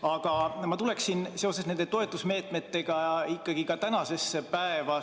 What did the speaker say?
Aga ma tuleksin seoses nende toetusmeetmetega ikkagi ka tänasesse päeva.